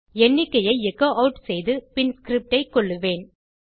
எண்ணிக்கையை echo add செய்து பின் ஸ்கிரிப்ட் ஐ கொல்லுவேன்